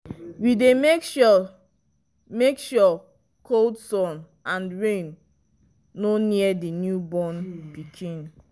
we dy make sure make sure cold sun and rain no near the new born pikin